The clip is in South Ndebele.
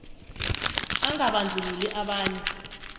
i angabandlululi abanye